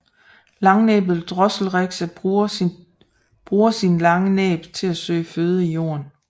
Langnæbbet drosselrikse bruger sin lange næb til at søge føde i jorden